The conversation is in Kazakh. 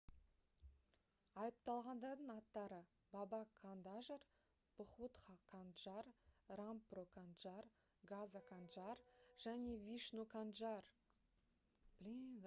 айыпталғандардың аттары баба кандажр бхутха канджар рампро канджар газа канджар және вишну канджар